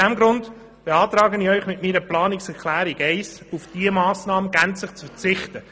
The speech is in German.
Deshalb beantrage ich Ihnen mit der Planungserklärung 3, auf diese Massnahme gänzlich zu verzichten.